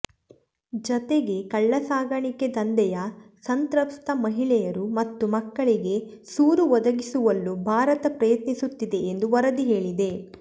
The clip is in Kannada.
ಜತೆಗೆ ಕಳ್ಳಸಾಗಣೆ ದಂಧೆಯ ಸಂತ್ರಸ್ತ ಮಹಿಳೆಯರು ಮತ್ತು ಮಕ್ಕಳಿಗೆ ಸೂರು ಒದಗಿಸುವಲ್ಲೂ ಭಾರತ ಪ್ರಯತ್ನಿಸುತ್ತಿದೆ ಎಂದು ವರದಿ ಹೇಳಿದೆ